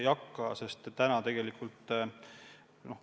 Aitäh!